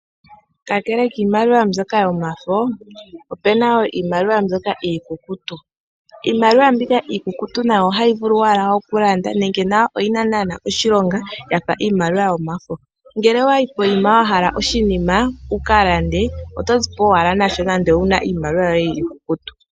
Kakele kiimaliwa mbyoka yomafo opena woo iimaliwa mbyoka iikukutu, Iimaliwa mbika iikukutu nayo ohayi vulu wala oku landa nenge nayo oyina naana oshilonga yafa iimaliwa yomafo, ngele owayi poyima wa hala oshinima wuka lande oto zipo owala nasho nando owuna owala iimaliwa yoye iikukutu.